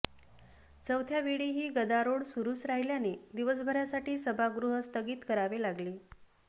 चौथ्यावेळीही गदारोळ सुरूच राहिल्याने दिवसभरासाठी सभागृह स्थगित करावे लागले